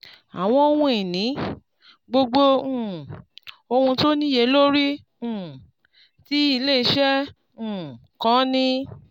àwọn ohun ìní: gbogbo um ohun tó níye lórí um tí iléeṣẹ́ um kan ní.